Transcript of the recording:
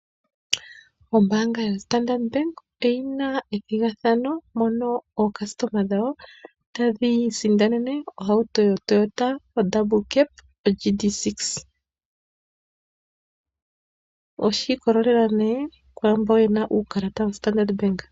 Ombaanga yoStandard bank oyina ethigathano mono oocustoma dhawo tadhi isindanene ohauto yoToyota Double Cab GD-6. Oshiikolelela ne kwaamboka yena uukalata woStandard bank.